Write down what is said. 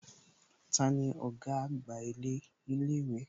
Tani ọ̀gá àgbà ilé ìwé?